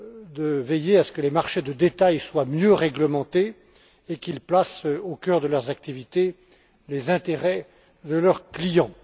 de veiller à ce que les marchés de détail soient mieux réglementés et qu'ils placent au cœur de leurs activités les intérêts de leurs clients.